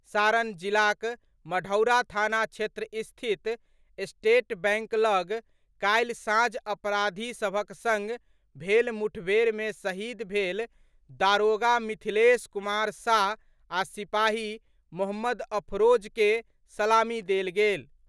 सारण जिलाक मढ़ौरा थाना क्षेत्र स्थित स्टेट बैंक लऽग काल्हि सांझ अपराधी सभक संग भेल मुठभेड़ मे शहीद भेल दारोगा मिथिलेश कुमार साह आ सिपाही मोहम्मद अफरोज के सलामी देल गेल।